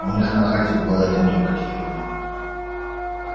у них на хате был один только телефон